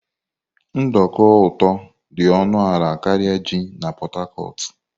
Nduku ụtọ dị ọnụ ala karịa ji na Port Harcourt.